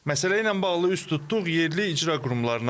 Məsələ ilə bağlı üz tutduq yerli icra qurumlarına.